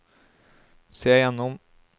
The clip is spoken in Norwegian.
se gjennom